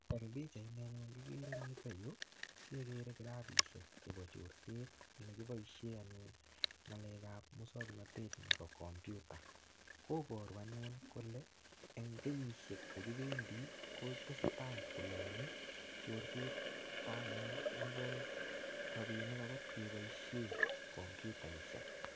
En pichaini anyun kigere en yuto yu kegere kirapishek chebo chorset ne kiboishe anyun ngalek ab muswoknatet nebo computer . Koboru anyun kole ne kenyisiek che kibendi kotestai kolonye chorset anyun nebo robinik agot kebosien kompyutaishek.